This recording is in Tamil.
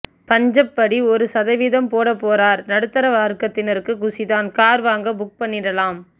பஞ்சப் படி ஒரு சதவீதம் போட போறார் நடுத்தர வர்க்கத்தினருக்கு குஷிதான் கார் வாங்க புக் பண்ணிடலாம்